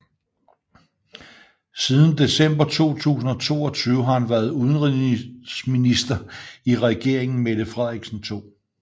Siden december 2022 har han været udenrigsminister i regeringen Mette Frederiksen II